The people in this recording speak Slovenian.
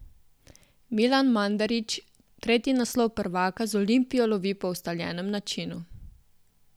Milan Mandarić tretji naslov prvaka z Olimpijo lovi po ustaljenem načinu.